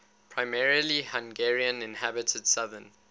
primarily hungarian inhabited southern